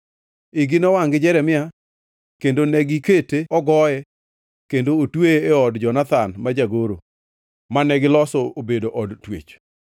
Igi nowangʼ gi Jeremia kendo negikete ogoye kendo otweye e od Jonathan ma jagoro, mane giloso obedo od twech.